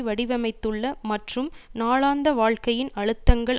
வடிவமைத்துள்ள மற்றும் நாளாந்த வாழ்க்கையின் அழுத்தங்கள்